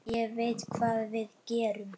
Ég veit hvað við gerum!